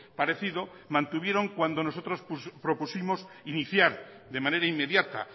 parecido mantuvieron cuando nosotros propusimos iniciar de manera inmediata